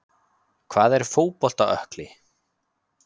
Hvað er fótbolta ökkli?